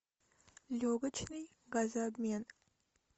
легочный газообмен